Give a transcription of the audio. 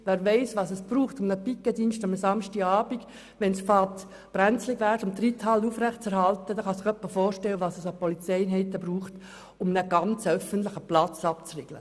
Wer weiss, was es braucht, um einen Pikettdienst an einem Samstagabend aufzustellen, wenn es bei der Reithalle beginnt brenzlig zu werden, kann sich etwa vorstellen, was es an Polizeieinheiten braucht, um einen ganzen öffentlichen Platz abzuriegeln.